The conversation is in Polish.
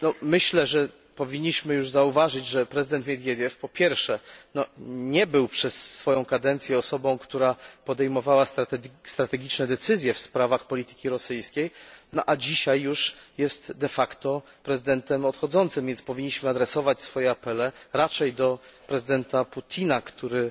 Myślę, że powinniśmy już zauważyć, że prezydent Miedwiediew po pierwsze, nie był przez swoją kadencję osobą, która podejmowała strategiczne decyzje w sprawach polityki rosyjskiej, no a po drugie, dzisiaj już jest de facto prezydentem odchodzącym, więc powinniśmy adresować swoje apele raczej do prezydenta Putina, który